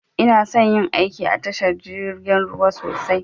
Inason yin aiki da tashar jirgin ruwa sosai